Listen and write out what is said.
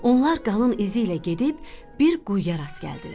Onlar qanın izi ilə gedib bir quyuya rast gəldilər.